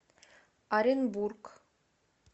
оренбург